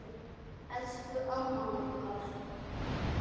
Elsku amman okkar.